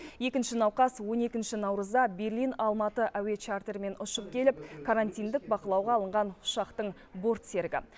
екінші науқас он екінші наурызда берлин алматы әуе чартерімен ұшып келіп карантиндік бақылауға алынған ұшақтың борт серігі